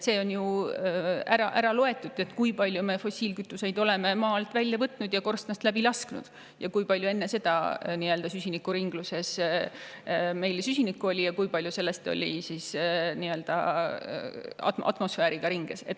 See on ju kokku loetud, kui palju me oleme fossiilkütuseid maa alt välja võtnud ja korstnast läbi lasknud, kui palju meil oli enne seda süsinikku ringluses ja kui palju sellest oli atmosfääri ringluses.